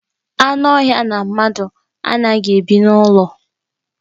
Anụ ọhịa na mmadụ anaghị ebi n'ụlọ.